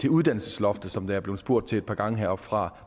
uddannelsesloftet som der er blevet spurgt til et par gange heroppe fra